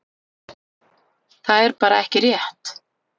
Það er bara ekki rétt.